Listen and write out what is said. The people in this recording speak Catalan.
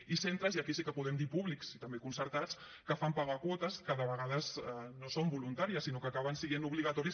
i centres i aquí sí que podem dir públics i també concertats que fan pagar quotes que de vegades no són voluntàries sinó que acaben sent obligatòries